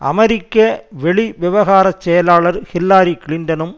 அமெரிக்க வெளிவிவகார செயலாளர் ஹில்லாரி கிளின்டனும்